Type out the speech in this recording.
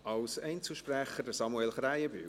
Als Einzelsprecher: Samuel Krähenbühl.